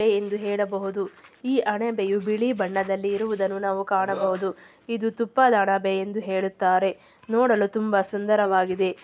ಇದೆ ಎಂದು ಹೇಳಬಹುದು. ಈ ಅಣಬೆಯು ಬಿಳಿ ಬಣ್ಣದಲ್ಲಿ ಇರುವುದನ್ನು ನಾವು ಕಾಣಬಹುದು. ಇದು ತುಪ್ಪದಣಬೆ ಎಂದು ಹೇಳುತ್ತಾರೆ. ನೋಡಲು ತುಂಬಾ ಸುಂದರವಾಗಿದೆ.